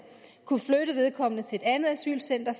kunne flytte vedkommende til et andet asylcenter